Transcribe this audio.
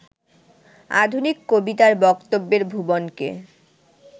আধুনিক কবিতার বক্তব্যের ভুবনকে